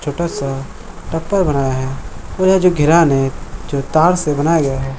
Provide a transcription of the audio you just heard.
छोटा सा टप्पा बनाया है और यह जो घेरान है जो तार से बनाया गया है।